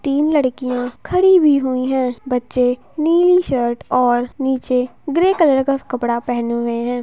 तीन लडकियां खड़ी हुवी हुईं हैं बच्चे नीली शर्ट और नीचे ग्रे कलर का कपड़ा पहनें हुए हैं।